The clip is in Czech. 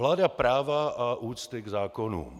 Vláda práva a úcty k zákonům.